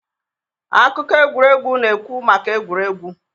akụkọ egwuregwu na-ekwu maka egwuregwu